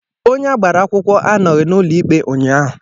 Onye agbara akwụkwọ anọghị n'ụlọ ikpe ụnyaahụ